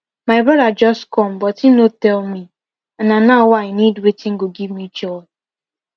my brother just come but him no tell me and na now wey i need watin go give me joy